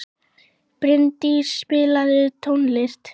Brimdís, spilaðu tónlist.